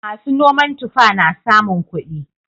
Masu noman tufa na samun kuɗi.